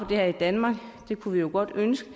det her i danmark og det kunne vi jo godt ønske